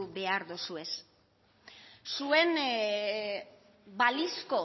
behar dozuez zuen balizko